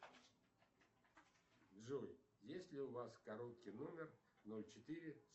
джой есть ли у вас короткий номер ноль четыре